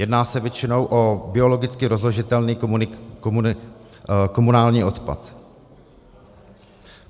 Jedná se většinou o biologicky rozložitelný komunální odpad.